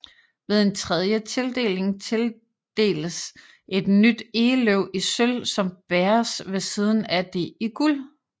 Ved en tredje tildeling tildeles et nyt egeløv i sølv som bæres ved siden af det i guld